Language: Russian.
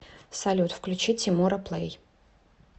салют включи тимура плэй